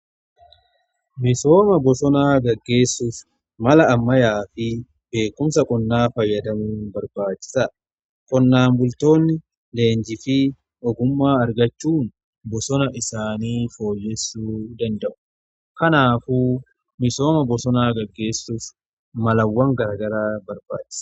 misooma bosonaa gaggeessuuf mala ammayyaa fi beekumsa qonnaa fayyadamuun barbaachisaadha. qonnaan bultoonni leenjii fi ogummaa argachuun bosona isaanii fooyyessuu danda'u. kanaafu misooma bosonaa gaggeessuuf malawwan garaa garaa barbaachisa.